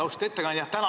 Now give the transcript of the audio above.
Austatud ettekandja!